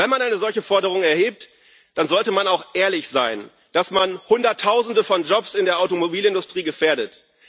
Wenn man eine solche Forderung erhebt, dann sollte man auch ehrlich sein, dass man Hunderttausende von Jobs in der Automobilindustrie gefährdet.